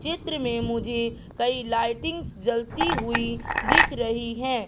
चित्र में मुझे कई लाइटिंग्स जलती हुई दिख रही है।